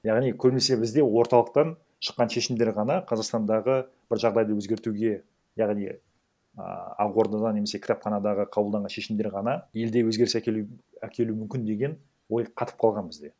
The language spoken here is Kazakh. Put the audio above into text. яғни көбінесе бізде орталықтан шыққан шешімдер ғана қазақстандағы бір жағдайды өзгертуге яғни ааа ақ ордадан немесе кітапханадағы қабылданған шешімдер ғана елде өзгеріс әкелу мүмкін деген ой қатып қалған бізде